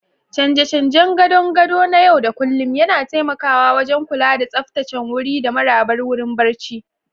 Canje-canjen gadon gado na yau da kullun yana taimakawa wajen kula da tsaftataccen wuri da marabar wurin barci.